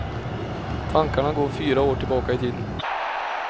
Tankarna går fyra år tillbaka i tiden.